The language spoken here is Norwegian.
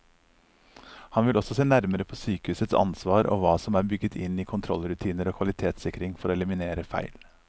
Han vil også se nærmere på sykehusets ansvar og hva som er bygget inn i kontrollrutiner og kvalitetssikring for å eliminere feil.